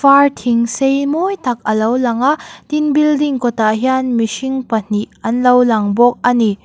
far thing sei mawi tak a lo lang a tin building kawtah hian mihring pahnih an lo lang bawk a ni.